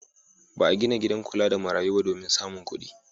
Ba a gina gidan kula da marayu ba domin samun kuɗi.